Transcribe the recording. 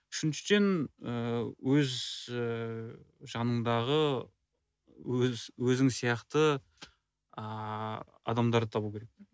үшіншіден ыыы өз ыыы жаныңдағы өзің сияқты ааа адамдарды табу керек